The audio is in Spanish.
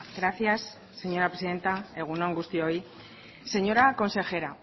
gracias señora presidenta egun on guztioi señora consejera